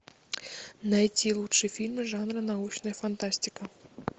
найти лучшие фильмы жанра научная фантастика